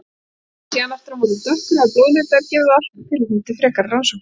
Sé hann aftur á móti dökkur eða blóðlitaður gefur það alltaf tilefni til frekari rannsóknar.